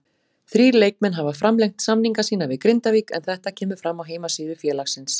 Þrír leikmenn hafa framlengt samninga sína við Grindavík en þetta kemur fram á heimasíðu félagsins.